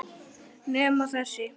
Nema þessi.